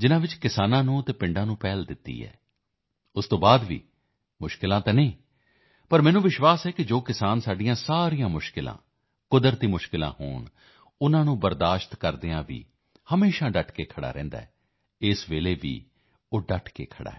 ਜਿਸ ਵਿੱਚ ਕਿਸਾਨਾਂ ਨੂੰ ਅਤੇ ਪਿੰਡਾਂ ਨੂੰ ਪ੍ਰਾਥਮਿਕਤਾ ਦਿੱਤੀ ਹੈ ਉਸ ਤੋਂ ਬਾਅਦ ਵੀ ਕਠਿਨਾਈਆਂ ਤਾਂ ਹਨ ਪਰ ਮੈਨੂੰ ਵਿਸ਼ਵਾਸ ਹੈ ਕਿ ਜੋ ਕਿਸਾਨ ਸਾਡੀਆਂ ਹਰ ਕਠਿਨਾਈਆਂ ਕੁਦਰਤੀ ਕਠਿਨਾਈਆਂ ਹੋਣ ਉਸ ਨੂੰ ਝੇਲਦੇ ਹੋਏ ਵੀ ਹਮੇਸ਼ਾ ਡਟ ਕੇ ਖੜ੍ਹਾ ਰਹਿੰਦਾ ਹੈ ਇਸ ਸਮੇਂ ਵੀ ਉਹ ਡਟ ਕੇ ਖੜ੍ਹਾ ਹੈ